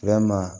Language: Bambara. Yalima